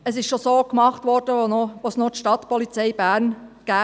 Dies wurde bereits so gemacht, als es noch die Stadtpolizei (Stapo) gab.